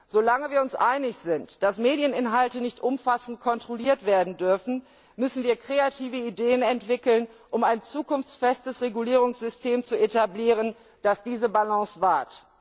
Solange wir uns einig sind, dass Medieninhalte nicht umfassend kontrolliert werden dürfen, müssen wir kreative Ideen entwickeln, um ein zukunftsfestes Regulierungssystem zu etablieren, das diese Balance wahrt.